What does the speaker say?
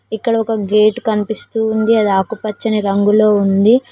ఇక్కడ ఒక గేటు కనిపిస్తూ ఉంది అది ఆకుపచ్చని రంగులో ఉంది.